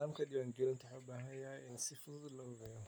Nidaamka diiwaangelintu waxa uu u baahan yahay in si fudud loo habeeyo.